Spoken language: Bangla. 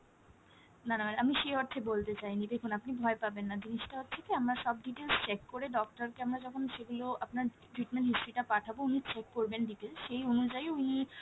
না না ma'am আমি সেই অর্থে বলতে চাইনি, দেখুন আপনি ভয় পাবেন না জিনিসটা হচ্ছে কী আমরা সব details check করে doctor কে আমরা যখন সেগুলো আপনার treatment history টা পাঠাবো উনি check করবেন details, সেই অনুযায়ী উনি